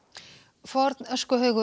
forn